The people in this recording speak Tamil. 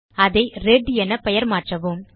அதை ரெட் என பெயர் மாற்றவும்